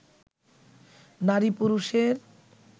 নারী-পুরুষের